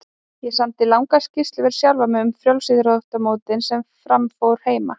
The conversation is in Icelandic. Ég samdi langar skýrslur fyrir sjálfan mig um frjálsíþróttamótin sem fram fóru heima.